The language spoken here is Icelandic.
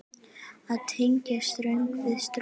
Að tengja strönd við strönd.